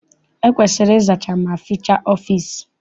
E kwesiri ịzacha ma fichaa ọfịịsi.